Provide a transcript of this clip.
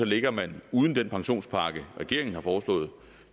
ligger man uden den pensionspakke regeringen har foreslået